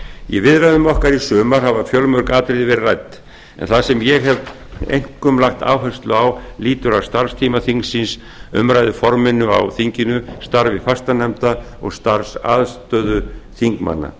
í viðræðum okkar í sumar hafa fjölmörg atriði verið rædd en það sem ég hef einkum lagt áherslu á lýtur að starfstíma þingsins umræðuforminu á þinginu starfi fastanefnda og starfsaðstöðu þingmanna